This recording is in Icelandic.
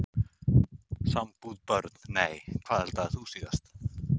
Sambúð Börn: Nei Hvað eldaðir þú síðast?